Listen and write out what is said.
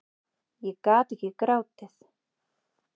Ég gat ekki grátið.